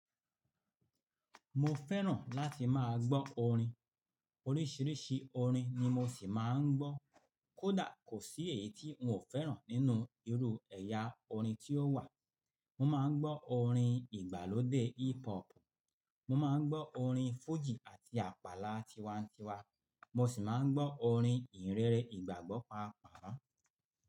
Mo fẹ́ràn láti máa gbọ́ orin. Oríṣiríṣi orin ni mo ṣì máa ń gbọ́. Kódà kò sí èyí tí n ò fẹ́ràn nínú irú ẹ̀yà orin tí ó wà. Mo máa ń gbọ́ orin ìgbàlódé hip hop, mo máa ń gbọ́ orin fújì àti àpàlà tiwańtiwa, mo sì máa ń gbọ́ orin ìhìnrere, ìgbàgbọ́ pápàá.